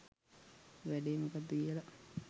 වැඩේ මොකද්ද කියලා